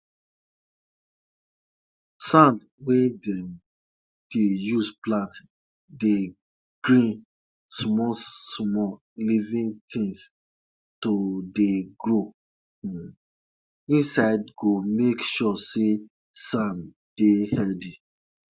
if the nipple of the animal breast don crack make sure say you treat am before you collect milk from the animal body